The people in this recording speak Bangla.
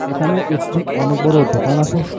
এখানে একটি অনেক বড় দোকান আসে।